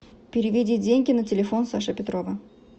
переведи деньги на телефон саши петрова